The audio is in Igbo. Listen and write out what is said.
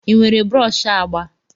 Ị nwere brọsh agba?